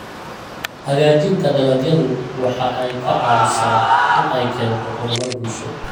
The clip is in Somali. Hagaajinta dalagyadu waxa ay ka caawisaa in ay keento horumar bulsho.